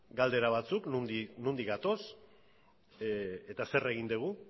galdera batzuk nondik gatoz eta zer egin dugu